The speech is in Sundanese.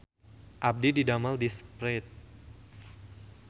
Abdi didamel di Sprite